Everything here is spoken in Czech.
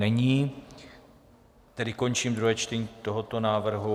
Není, tedy končím druhé čtení tohoto návrhu.